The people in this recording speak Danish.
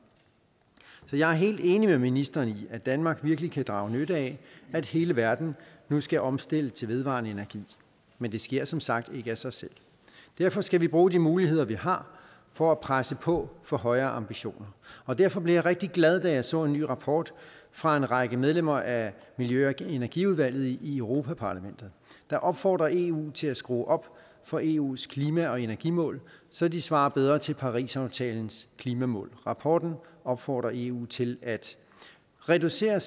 så jeg er helt enig med ministeren i at danmark virkelig kan drage nytte af at hele verden nu skal omstille til vedvarende energi men det sker som sagt ikke af sig selv derfor skal vi bruge de muligheder vi har for at presse på for højere ambitioner og derfor blev jeg rigtig glad da jeg så en ny rapport fra en række medlemmer af miljø og energiudvalget i europa parlamentet der opfordrer eu til at skrue op for eus klima og energimål så de svarer bedre til parisaftalens klimamål rapporten opfordrer eu til at reducere